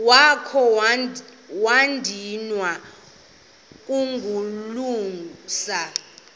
wakha wadinwa kukulungisa